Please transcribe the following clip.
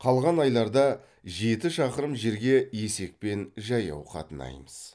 қалған айларда жеті шақырым жерге есекпен жаяу қатынаймыз